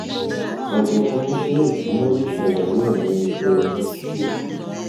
òjọgbọn iṣẹ ìsúná le ṣàlàyé ọnà ise ní ṣókí